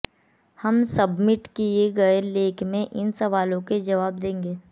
हम सबमिट किए गए लेख में इन सवालों के जवाब देंगे